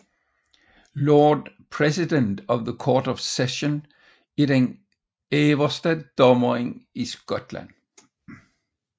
Lord President of the Court of Session er den øverste dommer i Skotland